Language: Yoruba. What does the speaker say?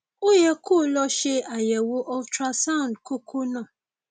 ó yẹ kó o lọ ṣe àyẹwò ultrasound kókó náà